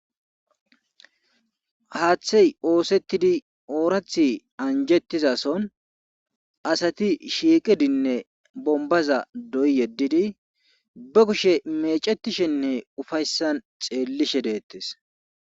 Haaththey oosettidi oorathi anjettizason asati shiiqidinne bombaza doy yeddidi be kushe mecetishenne ufayssan xeellishe deettes.